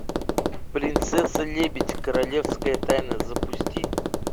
принцесса лебедь королевская тайна запусти